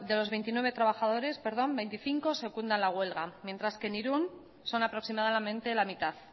los veintinueve trabajadores veinticinco secundan la huelga mientras que en irun son aproximadamente la mitad